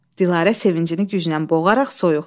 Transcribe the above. Dilarə sevincini güclə boğaraq, soyuq.